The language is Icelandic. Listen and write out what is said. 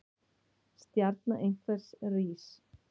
Stjarna einhvers rís